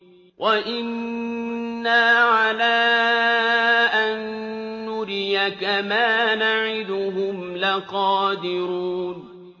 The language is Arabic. وَإِنَّا عَلَىٰ أَن نُّرِيَكَ مَا نَعِدُهُمْ لَقَادِرُونَ